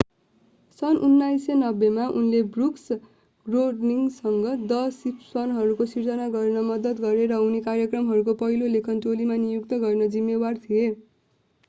सन् 1989 मा उनले ब्रुक्स र ग्रोनिङ्गसँग द सिम्पसनहरू सिर्जना गर्न मद्दत गरे र उनी कार्यक्रमको पहिलो लेखन टोली नियुक्त गर्न जिम्मेवार थिए